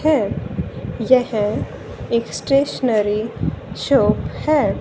है। यह एक स्टेशनरी शॉप है।